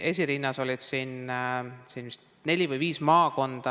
Esirinnas olid siin neli või viis maakonda.